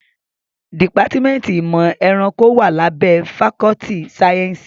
Dìpátímẹ́ntì ìmọ̀ ẹranko wá lábẹ́ fakọ́ltì sáyẹ́nsì.